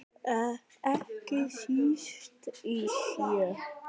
Ekki síst í sjö.